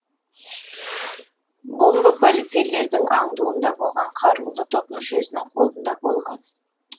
бомба полицейлердің аңдуында болған қарулы топ мүшесінің қолында болған